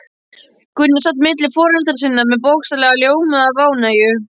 Gunni sat milli foreldra sinna, sem bókstaflega ljómuðu af ánægju.